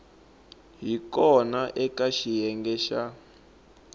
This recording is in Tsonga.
hi kona eka xiyenge xa